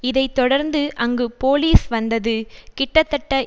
இதை தொடர்ந்து அங்கு போலீஸ் வந்தது கிட்டத்தட்ட